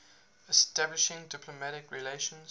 establishing diplomatic relations